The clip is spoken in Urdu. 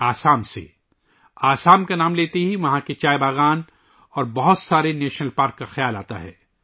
آسام کا نام لیتے ہی ذہن میں چائے کے باغات اور کئی قومی پارکوں کا خیال آتا ہے